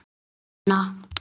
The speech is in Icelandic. Þá ber helst að nefna